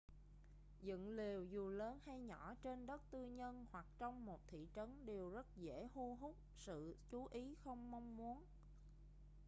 dựng lều dù lớn hay nhỏ trên đất tư nhân hoặc trong một thị trấn đều rất dễ hu hút sự chú ý không mong muốn